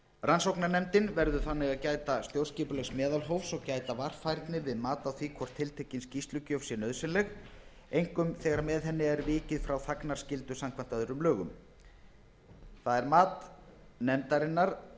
rannsóknarnefndin verður þannig að gæta stjórnskipulegs meðalhófs og gæta varfærni við mat á því hvort tiltekin skýrslugjöf sé nauðsynleg einkum þegar með henni yrði vikið frá þagnarskyldu samkvæmt öðrum lögum það er mat nefndarinnar